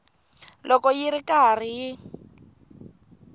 loko yi ri karhi yi